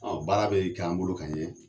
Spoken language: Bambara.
Ɔ baara bɛ k'an bolo ka ɲɛ